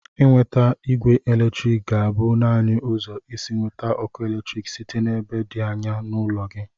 Inweta ogwe eletrik ga-abụ naanị ụzọ isi eweta ọkụ eletrik site n'ebe dị anya n'ụlọ gị.